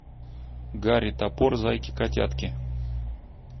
гарри топор зайки котятки